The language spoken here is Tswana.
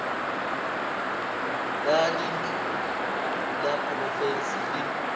la dintlo la porofense le